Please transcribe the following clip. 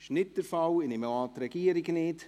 Ich nehme an, auch die Regierung nicht.